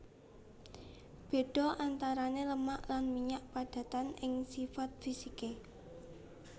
Béda antarané lemak lan minyak padatan ing sipat fisiké